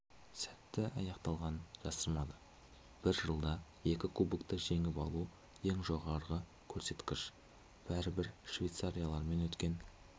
сәтті аяқталғанын жасырмады бір жылда екі кубокты жеңіп алу ең жоғарғы көрсеткіш бәрі-бір швейцарлармен өткен